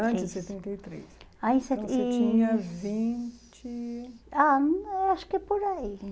três. Antes de setenta e três, então você tinha vinte... Ah, é acho que por aí.